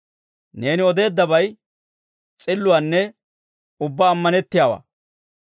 Neeni odeeddabay s'illuwaanne ubbaa ammanettiyaawaa.